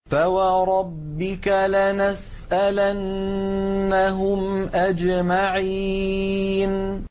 فَوَرَبِّكَ لَنَسْأَلَنَّهُمْ أَجْمَعِينَ